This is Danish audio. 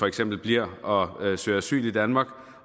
eksempel bliver og søger asyl i danmark